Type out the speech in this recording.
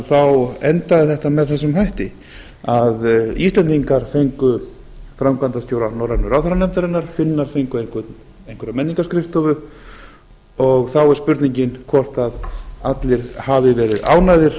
þá endaði þetta með þessum hætti að íslendingar fengu framkvæmdastjóra norrænu ráðherranefndarinnar finnar fengu einhverja menningarskrifstofu og þá er spurningin hvort allir hafi verið ánægðir